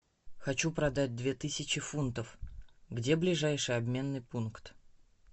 хочу продать две тысячи фунтов где ближайший обменный пункт